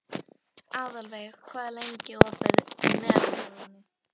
Aðalveig, hvað er lengi opið í Melabúðinni?